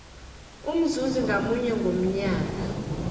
umzuzi ngamunye ngomnyaka